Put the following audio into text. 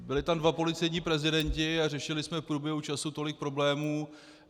Byli tam dva policejní prezidenti a řešili jsme v průběhu času tolik problémů.